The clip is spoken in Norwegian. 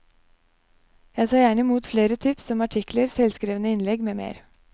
Jeg tar gjerne imot flere tips om artikler, selvskrevne innlegg med mer.